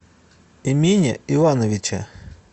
эмине ивановиче